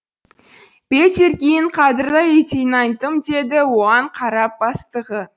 петеркин қадірлі лейтенантым деді оған қарап бастығы